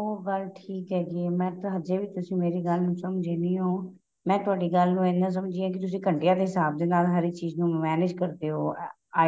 ਓ ਗੱਲ ਠੀਕ ਹੈਗੀ ਏ ਮੈਂ ਤਾਂ ਅਜੇ ਵੀ ਤੁਸੀਂ ਮੇਰੀ ਗੱਲ ਨੂੰ ਸਮਝੇ ਨਹੀਂ ਹੋ ਮੈਂ ਤੁਹਾਡੀ ਗੱਲ ਨੂੰ ਇਹਨਾ ਸਮਝੀ ਹਾਂ ਕਿ ਤੁਸੀਂ ਘੰਟਿਆਂ ਦੇ ਹਿਸਾਬ ਦੇ ਨਾਲ ਹਰੇਕ ਚੀਜ਼ ਨੂੰ manage ਕਰਦੇ ਹੋ